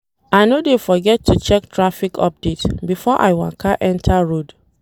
I no dey forget to check traffic update before I waka enta road.